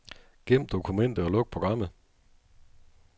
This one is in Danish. Gem dokumentet og luk programmet.